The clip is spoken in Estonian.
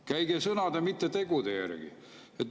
Käige sõnade, mitte tegude järgi.